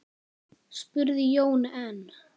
spurði Jón enn.